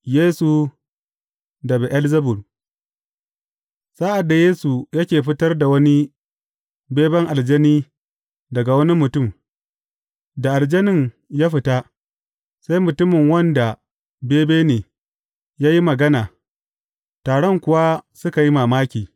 Yesu da Be’elzebub Sa’ad da Yesu yake fitar da wani beben aljani daga wani mutum, da aljanin ya fita, sai mutumin wanda da bebe ne, ya yi magana, taron kuwa suka yi mamaki.